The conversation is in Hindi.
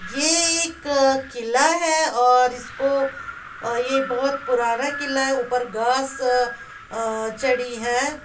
ये एक किला है और इसको अ ये बहोत पुराना किला है। ऊपर घास अ चढ़ी है।